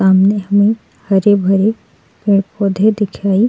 सामने हमें हरे भरे पेड़ पौधे दिखाई --